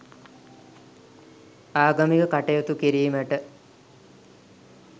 ආගමික කටයුතු කිරීමට